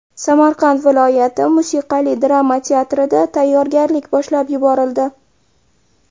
Samarqand viloyati musiqali drama teatrida tayyorgarlik boshlab yuborildi.